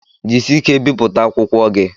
Jisie ike biputa akwụkwọ gi